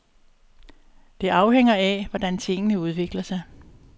Det afhænger af, hvordan tingene udvikler sig.